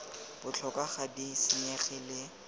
botlhokwa ga di senyege le